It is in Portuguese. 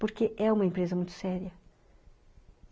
Porque é uma empresa muito séria.